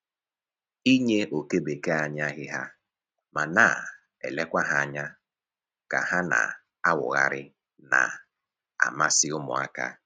Inye oke bekee anyị ahịhịa ma na-elekwa ha ka ha na-awụgharị na-amasị ụmụaka